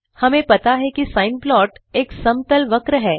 हमें पता है कि साइन प्लॉट एक समतल वक्र है